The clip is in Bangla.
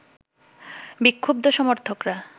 বিক্ষুব্ধ সমর্থকরা